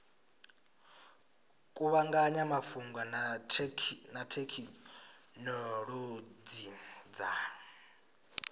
kuvhanganya mafhungo na thekhinolodzhi dza